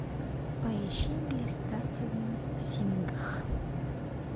поищи блистательный сингх